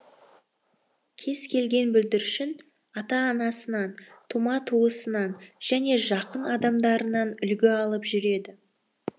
кез келген бүлдіршін ата анасынан тума туыстарынан және жақын адамдарынан үлгі алып жүреді